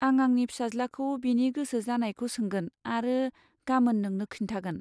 आं आंनि फिसाज्लाखौ बिनि गोसो जानायखौ सोंगोन आरो गामोन नोंनो खिन्थागोन।